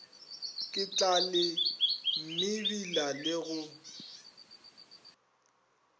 ke tlale mebila le go